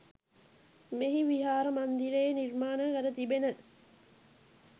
මෙහි විහාර මන්දිරයේ නිර්මාණය කර තිබෙන